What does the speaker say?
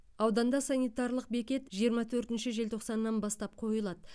ауданда санитарлық бекет жиырма төртінші желтоқсаннан бастап қойылады